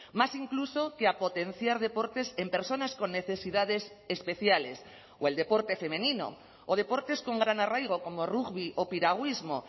más incluso que a potenciar deportes en personas con necesidades especiales o el deporte femenino o deportes con gran arraigo como rugbi o piragüismo